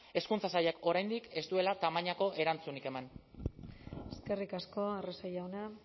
hezkuntza sailak oraindik ez duela tamainako erantzunik eman eskerrik asko arrese jauna